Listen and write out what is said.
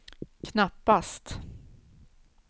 knappast